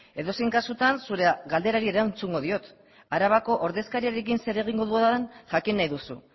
edozein kasutan zure galderari erantzungo diot arabako ordezkariarekin zer egingo dudan jakin nahi duzu